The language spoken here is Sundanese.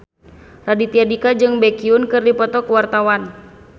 Raditya Dika jeung Baekhyun keur dipoto ku wartawan